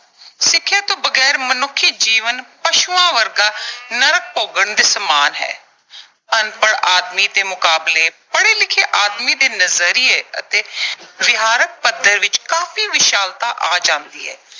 ਸਿੱਖਿਆ ਤੋਂ ਬਗੈਰ ਮਨੁੱਖੀ ਜੀਵਨ ਪਸ਼ੂਆਂ ਵਰਗਾ ਨਰਕ ਭੋਗਣ ਦੇ ਸਮਾਨ ਹੈ। ਅਨਪੜ੍ਹ ਆਦਮੀ ਦੇ ਮੁਕਾਬਲੇ, ਪੜ੍ਹੇ ਲਿਖੇ ਆਦਮੀ ਦੇ ਨਜ਼ਰੀਏ ਅਤੇ ਵਿਹਾਰਕ ਪੱਧਰ ਵਿੱਚ ਕਾਫ਼ੀ ਵਿਸ਼ਾਲਤਾ ਆ ਜਾਂਦੀ ਹੈ